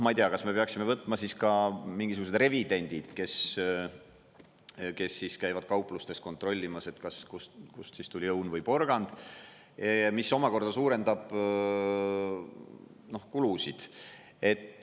Ma ei tea, kas me peaksime võtma siis ka mingisugused revidendid, kes kes käivad kauplustes kontrollimas, kust tuli õun või porgand, mis omakorda suurendab kulusid.